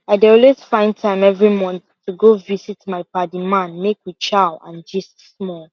i dey always find time every month to go visit my padi man make we chow and gist small